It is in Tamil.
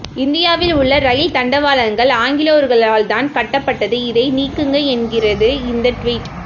இந்தியாவில் உள்ள ரயில் தண்டவாளங்கள் ஆங்கிலேயர்களால்தான் கட்டப்பட்டது இதை நீக்குங்க என்கிறது இந்த டிவிட்